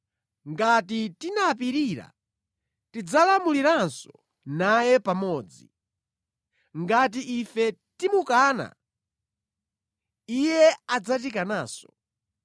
Ngati tinapirira, tidzalamuliranso naye pamodzi. Ngati ife timukana, Iye adzatikananso.